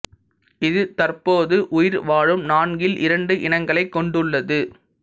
இது தற்போது உயிர் வாழும் நான்கில் இரண்டு இனங்களைக் கொண்டுள்ளது